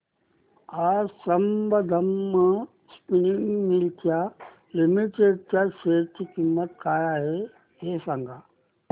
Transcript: आज Sambandam spinning mills limited च्या share ची किंमत काय आहे हे सांगा